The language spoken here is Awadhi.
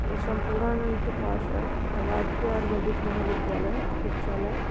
ये सम्पूर्णानन्द के पास है। राजकीय आयुर्वेदिक महाविद्यालय। चिकित्सालय --